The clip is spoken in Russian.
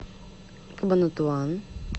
кабанатуан